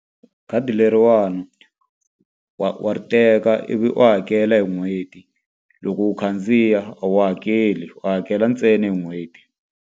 Khadi leriwani wa wa ri teka ivi u hakela hi n'hweti. Loko u khandziya a wu hakeli, u hakela ntsena hi n'hweti.